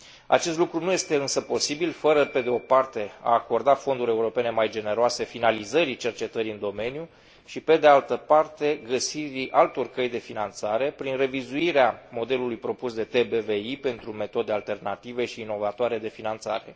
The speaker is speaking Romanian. Acest lucru nu este însă posibil fără, pe de o parte, a acorda fonduri europene mai generoase finalizării cercetării în domeniu și, pe de altă parte, găsirii altor căi de finanțare, prin revizuirea modelului propus de TBVI pentru metode alternative și inovatoare de finanțare.